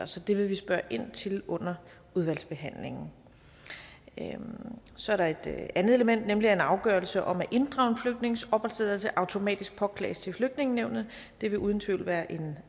så det vil vi spørge ind til under udvalgsbehandlingen så er der et andet element nemlig at en afgørelse om at inddrage en flygtnings opholdstilladelse automatisk påklages til flygtningenævnet det vil uden tvivl være en